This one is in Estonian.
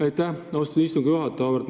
Aitäh, austatud istungi juhataja!